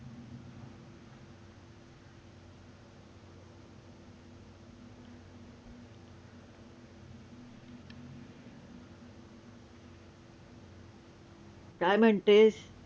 काय म्हणतेस?